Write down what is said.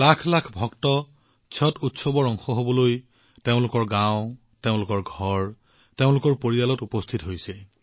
লাখ লাখ ভক্ত ছট উৎসৱৰ অংশ হবলৈ তেওঁলোকৰ গাওঁ তেওঁলোকৰ ঘৰ তেওঁলোকৰ পৰিয়ালত উপস্থিত হৈছে